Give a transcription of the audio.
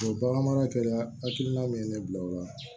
O bagan mara kɛra hakilina min ye ne bila o la